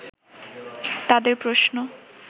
তাদের প্রশ্ন